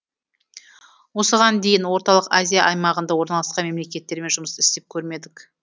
осыған дейін орталық азия аймағында орналасқан мемлекеттермен жұмыс істеп көрмедік